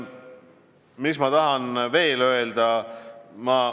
Mis ma tahan veel öelda?